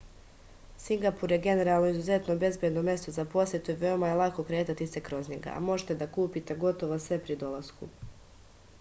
singapur je generalno izuzetno bezbedno mesto za posetu i veoma je lako kretati se kroz njega a možete da kupite gotovo sve pri dolasku